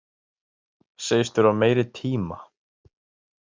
Segist þurfa meiri tíma